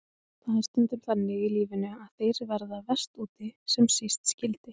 Það er stundum þannig í lífinu að þeir verða verst úti sem síst skyldi.